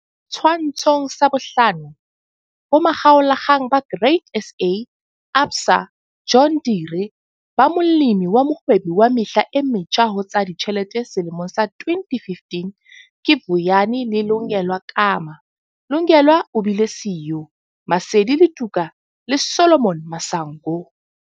Setshwantsho 5. Bomakgalolakgang ba Grain SA ABSA John Deere ba Molemi wa Mohwebi wa Mehla e Metjha ho tsa Ditjhelete selemong sa 2015 ke Vuyani le Lungelwa Kama, Lungelwa o bile siyo, Maseli Letuka le Solomon Masango.